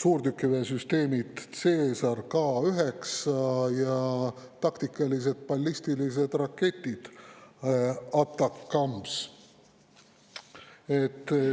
suurtükiväesüsteemid Caesar, K9 ja taktikalised ballistilised raketid ATACMS.